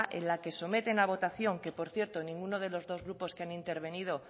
en la que someten a votación que por cierto ninguno de los dos grupos que han intervenido